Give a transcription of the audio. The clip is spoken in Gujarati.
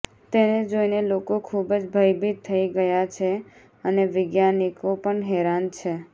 તેને જોઈને લોકો ખુબ જ ભયભીત થઇ ગયા છે અને વિજ્ઞાનીકો પણ હેરાન છે